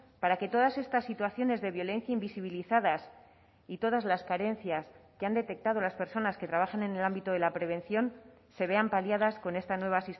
para que todas estas situaciones de violencia invisibilizadas y todas las carencias que han detectado las personas que trabajan en el ámbito de la prevención se vean paliadas con esta nueva